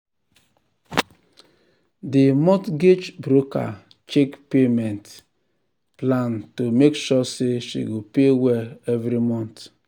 di mortgage broker check payment um plan to make sure say she go pay well every month.